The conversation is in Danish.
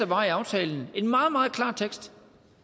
var i aftalen en meget meget klar tekst